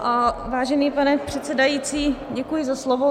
Vážený pane předsedající, děkuji za slovo.